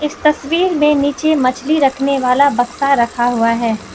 तस्वीर मे नीचे मछली रखने वाला बक्सा रखा हुआ है।